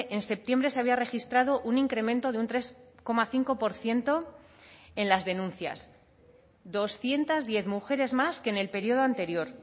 en septiembre se había registrado un incremento de un tres coma cinco por ciento en las denuncias doscientos diez mujeres más que en el periodo anterior